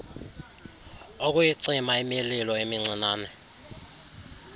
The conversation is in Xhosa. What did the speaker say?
ukuyicima imililo emincinane